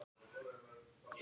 Að trúin flytur fjöll.